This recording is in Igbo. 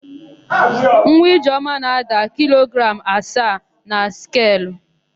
Nwa Ijeọma na-ada kilogram asaa na skelu.